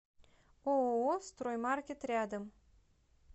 ооо строймаркет рядом